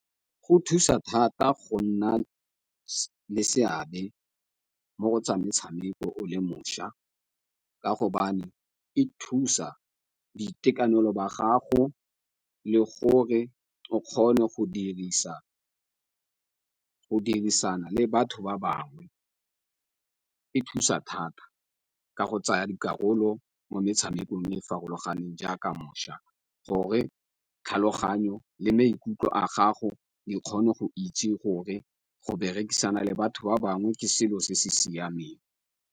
Go thusa thata go nna le seabe mo go tsa metshameko o le mošwa, ka go e thusa boitekanelo ba gago le gore o kgone go dirisana le batho ba bangwe e thusa thata ka go tsaya dikarolo mo metshamekong e farologaneng jaaka mošwa gore tlhaloganyo le maikutlo a gago di kgone go itse gore go berekisana le batho ba bangwe ke selo se se siameng.